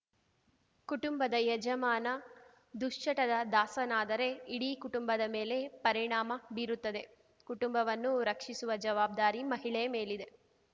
ಕುಟುಂಬದ ಯಜಮಾನ ದುಶ್ಚಟದ ದಾಸನಾದರೆ ಇಡೀ ಕುಟುಂಬದ ಮೇಲೆ ಪರಿಣಾಮ ಬೀರುತ್ತದೆ ಕುಟುಂಬವನ್ನು ರಕ್ಷಿಸುವ ಜವಾಬ್ದಾರಿ ಮಹಿಳೆಯ ಮೇಲಿದೆ